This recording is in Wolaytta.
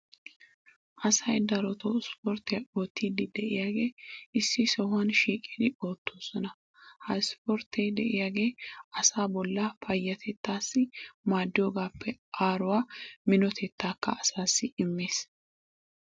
asay darotoo issiporttiya ootiidi diyaage issi sohuwan shiiqidi ootoosona. ha ispporttee diyaage asaa bolaa payatettaassi maadiyoogaappe aaruwa minotettaakka asaassi immees.